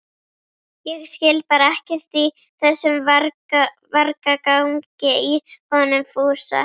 Ég skil bara ekkert í þessum vargagangi í honum Fúsa